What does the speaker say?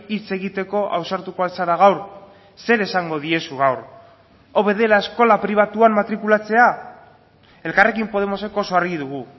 hitz egiteko ausartuko al zara gaur zer esango diezu gaur hobe dela eskola pribatuan matrikulatzea elkarrekin podemosek oso argi dugu